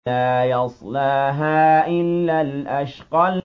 لَا يَصْلَاهَا إِلَّا الْأَشْقَى